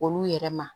Olu yɛrɛ ma